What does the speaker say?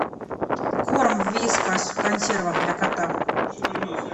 корм вискас в консервах для кота